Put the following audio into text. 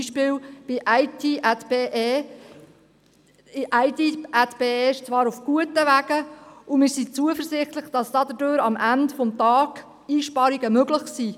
Ein Beispiel ist das Informatikprojekt IT@BE. IT@BE ist zwar auf guten Wegen, und wir sind zuversichtlich, dass damit am Ende Einsparungen möglich sind.